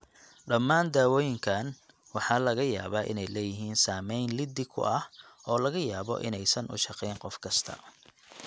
Dhammaan dawooyinkaan waxaa laga yaabaa inay leeyihiin saameyn liddi ku ah oo laga yaabo inaysan u shaqeyn qof kasta.